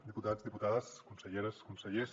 diputats diputades conselleres consellers